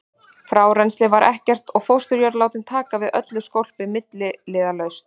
Frárennsli var ekkert og fósturjörðin látin taka við öllu skólpi milliliðalaust.